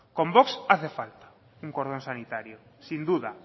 con vox hace falta un cordón sanitario sin duda